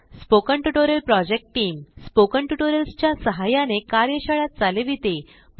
spoken tutorial project team spoken tutorials च्या सहाय्याने कार्यशाळा चालविते